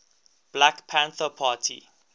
black panther party